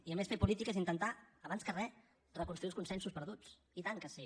i a més fer política és intentar abans que re reconstruir els consensos perduts i tant que sí